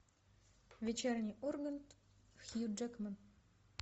вечерний ургант хью джекман